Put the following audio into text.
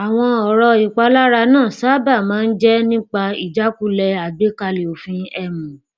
àwọn ọrọ ìpalára náà sáábà máa ń jẹ nípa ijakule àgbékalẹ òfin um